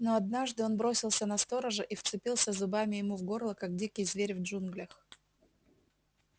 но однажды он бросился на сторожа и вцепился зубами ему в горло как дикий зверь в джунглях